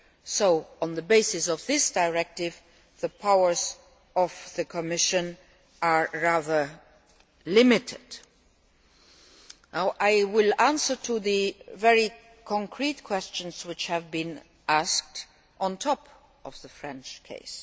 year. So, on the basis of this directive, the powers of the Commission are rather limited. I will answer the very concrete questions which have been asked in addition to the French